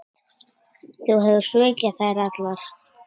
Þú hefur svikið þær allar.